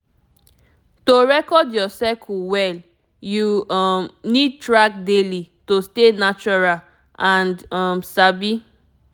to record your cycle well you um need track daily to stay natural and um sabi